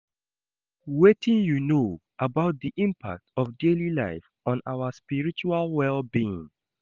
Wetin you know about di impact of daily life on our spiritual well-being?